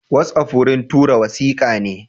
Watsapp wurin tura wasikane.